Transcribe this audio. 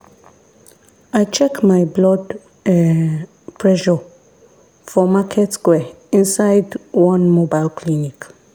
i check my blood[um]pressure for market square inside one mobile clinic.